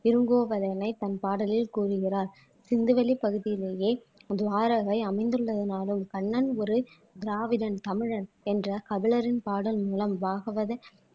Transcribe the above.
இருங்கோபதயனை தன் பாடலில் கூறுகிறார் சிந்துவெளி பகுதியிலேயே துவாரகை அமைந்துள்ளதுனாலும் கண்ணன் ஒரு திராவிடன் தமிழன் என்ற கபிலரின் பாடல் மூலம் பாகவத